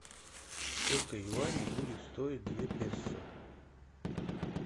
сколько юаней будет стоить две песо